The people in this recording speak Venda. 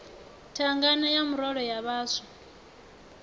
thangana ya murole ya vhaswa